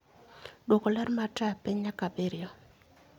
Duoko ler mar taya piny nyaka abiriyo